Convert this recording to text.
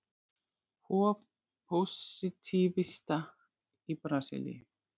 Hof pósitífista í Brasilíu.